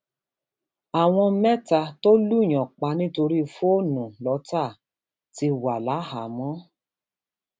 àwọn mẹta tó lùùyàn pa nítorí fóònù lọtà ti wà láhàámọ